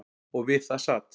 Og við það sat.